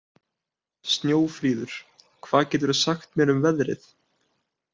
Snjófríður, hvað geturðu sagt mér um veðrið?